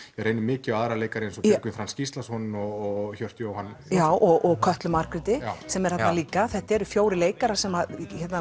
reynir mikið á aðra leikara eins og Björgvin Franz Gíslason og Hjört Jóhann já og Kötlu Margréti sem er þarna líka þetta eru fjórir leikarar sem